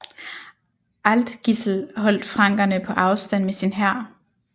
Aldgisl holdt frankerne på afstand med sin hær